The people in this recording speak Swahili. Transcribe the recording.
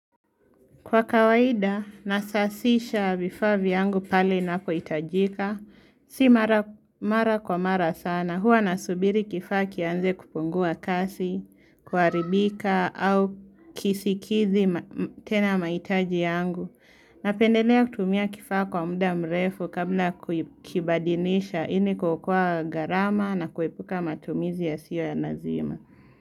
Kwa kawaida, nasasisha vifaa vyangu pale inapohitajika. Si mara kwa mara sana. Hua nasubiri kifaa kianze kupungua kasi, kuharibika au kisikizi tena maitaji yangu. Napendelea kutumia kifaa kwa mda mrefu kabla kukibadilisha ili kuokoa gharama na kuepuka matumizi ya siyo yalazima.